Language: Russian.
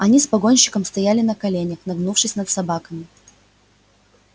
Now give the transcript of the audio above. они с погонщиком стояли на коленях нагнувшись над собаками